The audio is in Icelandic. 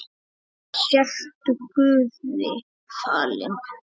Sértu guði falin.